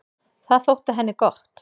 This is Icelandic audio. Það þótti henni gott.